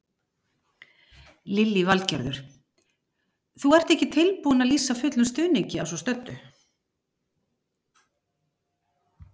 Lillý Valgerður: Þú ert ekki tilbúinn að lýsa fullum stuðningi að svo stöddu?